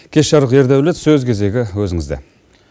кеш жарық ердаулет сөз кезегі өзіңізде